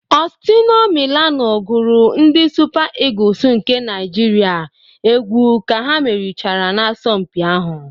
Ọstino Milano gụrụ ndị Supa ịgus nke Naịjirịa egwu ka ha merichara n'asọmpi ahụ